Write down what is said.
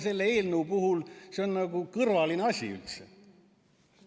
Selle eelnõu puhul on see kõrvaline asi üldse.